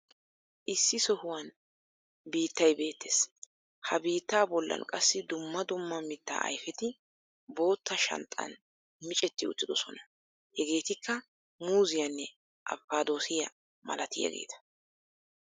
Issi sohuwan biiittay beettees. Ha biittaa bollan qassi dumma dumma mitaa ayfeti boottaa shanxxan miccetti uttidosona. Hageetikka muuziyaanne abkkaadoosiya malatiyageeta.